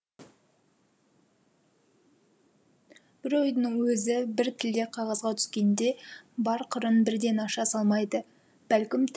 бір ойдың өзі бір тілде қағазға түскенде бар қырын бірден аша салмайды бәлкім тіпті аша алмайды